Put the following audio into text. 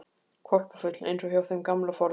Hvolpafull, eins og hjá þeim gamla forðum.